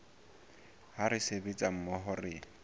ha re sebetsa mmoho re